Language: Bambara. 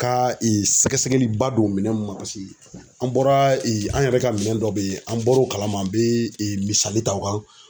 Ka sɛgɛsɛgɛli ba don minɛnw ma .Paseke an bɔra an yɛrɛ ka minɛn dɔ be yen an bɔro kalama ,an bɛemisali ta o kan